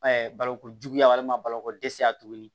balokojuguya walima baloko dɛsɛya tuguni